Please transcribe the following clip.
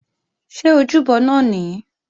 Ṣé ojúbọ náà nìí?